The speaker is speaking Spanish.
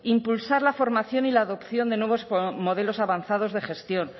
impulsar la formación y la adopción de nuevos con modelos avanzados de gestión